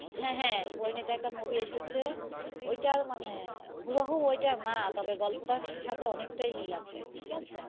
হ্যাঁ হ্যাঁ পরীণিতা একটা movie এসেছে ওইটার মানে হুবহু ওইটা না তবে গল্পটার সাথে অনেকটাই মিল আছে, ঠিক আছে.